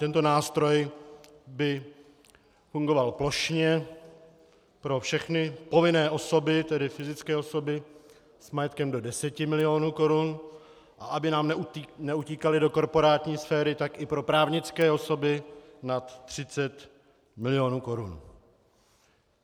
Tento nástroj by fungoval plošně pro všechny povinné osoby, tedy fyzické osoby s majetkem do deseti milionů korun, a aby nám neutíkaly do korporátní sféry, tak i pro právnické osoby nad třicet milionů korun.